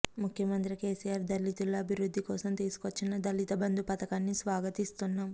ముఖ్యమంత్రి కేసీఆర్ దళితుల అభివృధ్ధికోసం తీసుకొచ్చిన దళిత బంధు పతకాన్ని స్వాగతిస్తున్నాం